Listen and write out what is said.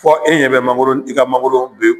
Fɔ e ɲɛ bɛ mangoro i ka mangoro